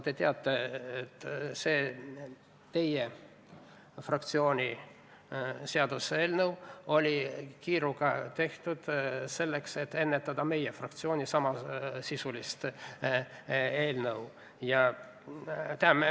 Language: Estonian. Te teate, et see teie fraktsiooni seaduseelnõu oli kiiruga tehtud, kuna te soovisite ette jõuda meie fraktsiooni samasisulisest eelnõust.